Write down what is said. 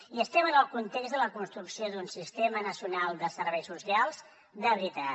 i estem en el context de la construcció d’un sistema nacional de serveis socials de veritat